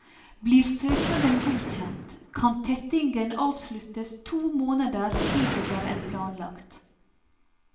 Blir søknaden godkjent, kan tettingen avsluttes to måneder tidligere enn planlagt.